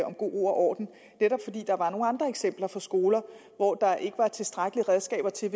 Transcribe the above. om god ro og orden netop fordi der var nogle andre eksempler fra skoler hvor der ikke var tilstrækkelige redskaber til at